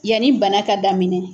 Yanni bana ka daminɛ.